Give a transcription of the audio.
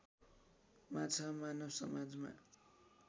माछा मानव समाजमा